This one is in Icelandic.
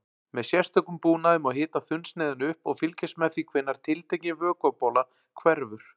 Með sérstökum búnaði má hita þunnsneiðina upp og fylgjast með því hvenær tiltekin vökvabóla hverfur.